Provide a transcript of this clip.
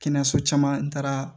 Kɛnɛyaso caman n taara